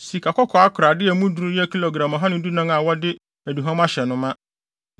sikakɔkɔɔ akorade a emu duru yɛ gram ɔha ne dunan (114) a wɔde aduhuam ahyɛ no ma;